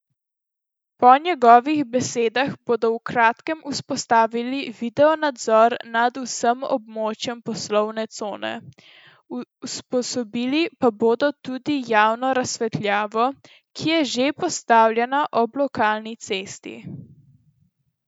Po njegovih besedah bodo v kratkem vzpostavili videonadzor nad vsem območjem poslovne cone, usposobili pa bodo tudi javno razsvetljavo, ki je že postavljena ob lokalni cesti.